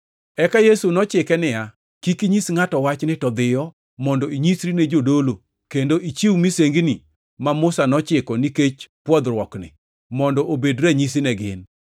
Eka Yesu nochike niya, “Kik inyis ngʼato wachni to dhiyo, mondo inyisri ne jadolo kendo ichiw misengini ma Musa nochiko nikech pwodhruokni, mondo obed ranyisi ne gin.”